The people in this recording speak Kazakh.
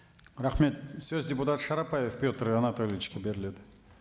рахмет сөз депутат шарапбаев петр анатольевичке беріледі